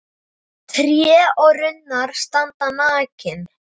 Tré og runnar standa nakin.